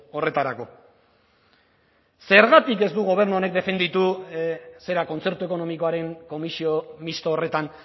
horretarako zergatik ez du gobernu honek defenditu zera kontzertu ekonomikoaren komisio misto horretan